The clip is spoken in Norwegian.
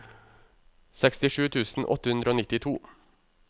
sekstisju tusen åtte hundre og nittito